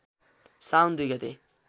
साउन २ गते